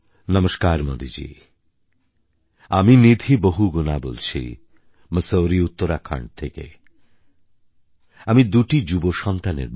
নমস্কার মোদি জী আমি নিধি বহুগুণা বলছি মসুরী উত্তরাখণ্ড থেকে আমি দুটি যুব সন্তানের মা